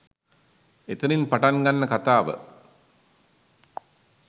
එතනින් පටන් ගන්න කතාව